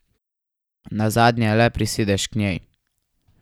Nazadnje le prisedeš k njej.